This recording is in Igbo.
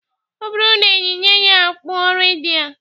Ọ bụrụ na eyinye ya okpu redi a